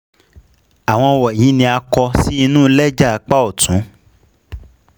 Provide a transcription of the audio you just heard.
Áwọn wọ̀nyìí ni a kọ sí inu lẹ́jà apá ọ̀tún